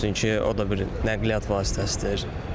Çünki o da bir nəqliyyat vasitəsidir.